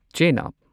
ꯆꯦꯅꯕ